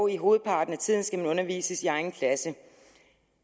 i hovedparten af tiden skal man dog undervises i egen klasse